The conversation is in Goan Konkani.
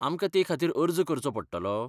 आमकां ते खातीर अर्ज करचो पडटलो ?